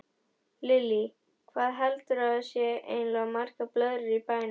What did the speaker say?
Lillý: Hvað heldurðu að séu eiginlega margar blöðrur í bænum?